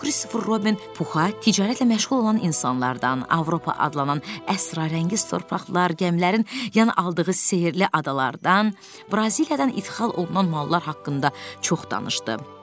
Burda Kristofer Robin Puxa ticarətlə məşğul olan insanlardan, Avropa adlanan əsrarəngiz torpaqlar, gəmilərin yan aldığı sehirli adalardan, Braziliyadan idxal olunan mallar haqqında çox danışdı.